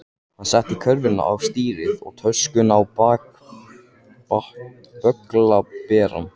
Hann setti körfuna á stýrið og töskuna á bögglaberann.